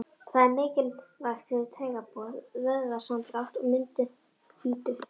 Það er mikilvægt fyrir taugaboð, vöðvasamdrátt og myndun hvítu.